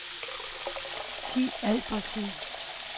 Thi Albertsen